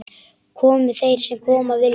Komi þeir sem koma vilja-?